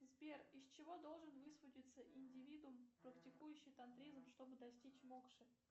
сбер из чего должен высвободиться индивидум практикующий тантризм чтобы достичь мокши